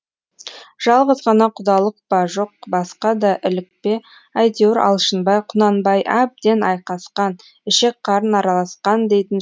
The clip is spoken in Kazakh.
жалғыз ғана құдалық па жоқ басқа да ілік пе әйтеуір алшынбай құнанбай әбден айқасқан ішек қарын араласқан дейтін